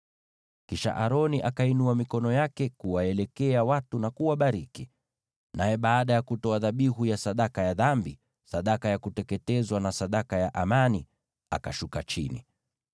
Kisha Aroni akainua mikono yake kuwaelekea watu na kuwabariki. Naye baada ya kutoa dhabihu ya sadaka ya dhambi, sadaka ya kuteketezwa, na sadaka ya amani, akashuka chini.